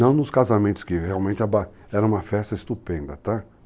Não nos casamentos, que realmente era uma festa estupenda, tá?